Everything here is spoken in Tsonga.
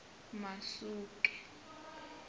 masuke